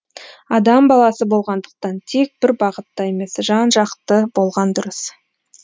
адам баласы болғандықтан тек бір бағытта емес жан жақты болған дұрыс